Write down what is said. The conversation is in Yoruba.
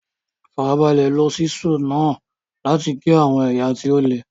Farabalẹ̀ lo Ṣísẹ́ẹ̀lì náà láti gé àwọn ẹ̀yà tí ó le.